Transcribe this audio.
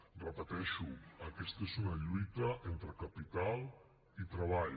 ho repeteixo aquesta és una lluita entre capital i treball